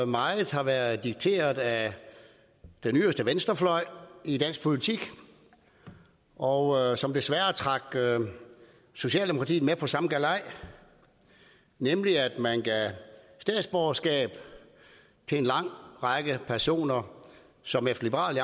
meget har været dikteret af den yderste venstrefløj i dansk politik og som desværre trak socialdemokratiet med på samme galej nemlig at man gav statsborgerskab til en lang række personer som efter liberal